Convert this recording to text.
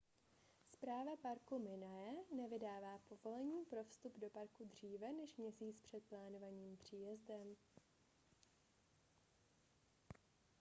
správa parku minae nevydává povolení pro vstup do parku dříve než měsíc před plánovaným příjezdem